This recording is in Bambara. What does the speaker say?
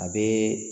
A bɛ